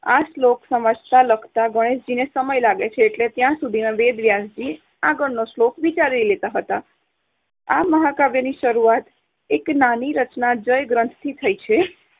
આ શ્લોક સમજતાં-લખતાં ગણેશજીને સમય લાગે છે એટલે ત્યાં સુધીમાં વેદ વ્યાસજી આગળનો શ્લોક વિચારી લેતા હતા. આ મહાકાવ્યની શરૂઆત એક નાની રચના જયગ્રંથ થી થઈ છે.